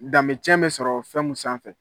Danbecɛn bɛ sɔrɔ fɛn mun sanfɛ.